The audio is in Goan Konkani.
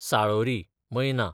साळोरी, मैना